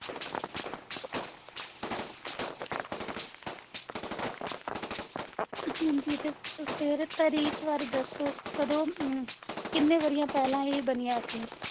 ਹਾਂਜੀ ਤੇ ਤੁਸੀ ਇਹਦੇ ਤਰੀਕ ਬਾਰੇ ਦੱਸੋ ਕਿੰਨੇ ਕਦੋਂ ਅਮ ਕਿੰਨੇ ਵਰ੍ਹਿਆਂ ਪਹਿਲਾਂ ਇਹ ਬਣੀਆਂ ਸੀਗੀਆਂ